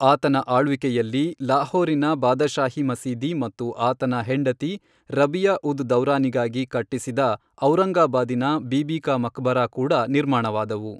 ಆತನ ಆಳ್ವಿಕೆಯಲ್ಲಿ ಲಾಹೋರಿನ ಬಾದಶಾಹಿ ಮಸೀದಿ ಮತ್ತು ಆತನ ಹೆಂಡತಿ ರಬಿಯಾ ಉದ್ ದೌರಾನಿಗಾಗಿ ಕಟ್ಟಿಸಿದ ಔರಂಗಾಬಾದಿನ ಬೀಬಿ ಕಾ ಮಕ್ಬರಾ ಕೂಡ ನಿರ್ಮಾಣವಾದವು.